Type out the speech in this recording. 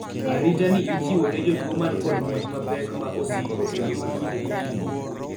arita ni ichiwo ne jotuo man kod monj mapek ,ma osiko kendo ma kinde ka kinde